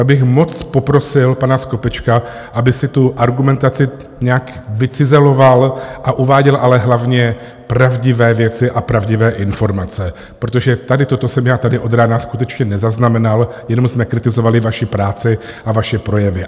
Tak bych moc poprosil pana Skopečka, aby si tu argumentaci nějak vycizeloval a uváděl ale hlavně pravdivé věci a pravdivé informace, protože tady toto jsem já tady od rána skutečně nezaznamenal, jenom jsme kritizovali vaši práci a vaše projevy.